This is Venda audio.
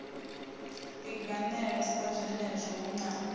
linganela sa zwenezwo hu na